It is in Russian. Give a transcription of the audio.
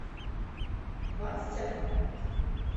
двадцать одна